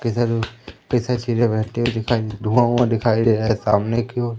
किधर दिखाई धुवां ऊयां दिखाई दे रहा सामने कि ओर--